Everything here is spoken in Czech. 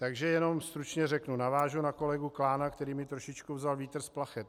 Takže jenom stručně řeknu, navážu na kolegu Klána, který mi trošičku vzal vítr z plachet.